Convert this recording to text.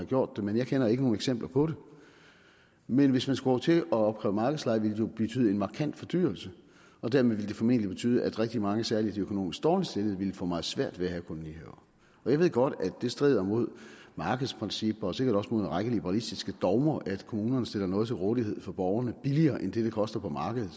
gjort det men jeg kender ikke nogen eksempler på det men hvis man skulle til at opkræve markedsleje ville det jo betyde en markant fordyrelse og dermed ville det formentlig betyde at rigtig mange særlig de økonomisk dårligt stillede ville få meget svært ved at have kolonihaver og jeg ved godt at det strider mod markedsprincipper og sikkert også mod en række liberalistiske dogmer at kommunerne stiller noget til rådighed for borgerne billigere end det det koster på markedet